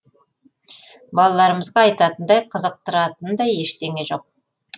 балаларымызға айтатындай қызықтыратындай ештеңе жоқ